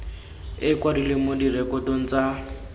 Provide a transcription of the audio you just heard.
e kwadilwe mo direkotong tsa